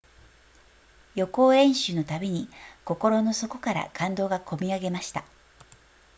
予行演習のたびに心の底から感動がこみ上げました